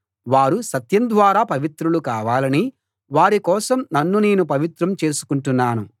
వారు సత్యం ద్వారా పవిత్రులు కావాలని వారి కోసం నన్ను నేను పవిత్రం చేసుకుంటున్నాను